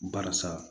Barisa